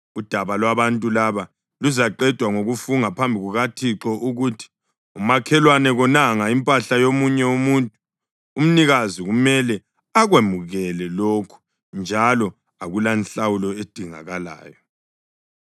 udaba lwabantu laba luzaqedwa ngokufunga phambi kukaThixo ukuthi umakhelwane konanga impahla yomunye umuntu. Umnikazi kumele akwemukele lokhu njalo akulanhlawulo edingakalayo.